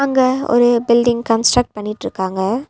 இங்க ஒரு building construct பண்ணிட்ருக்காங்க.